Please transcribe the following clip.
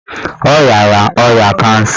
Ọ riara ọrịa kansa